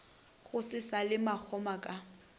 go se šale makgoma ka